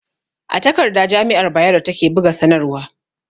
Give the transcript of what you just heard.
A takarda jami'ar Bayero ta ke buga sanarwa